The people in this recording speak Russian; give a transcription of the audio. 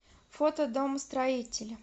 фото домостроитель